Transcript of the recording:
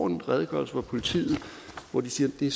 en redegørelse hvor politiet siger det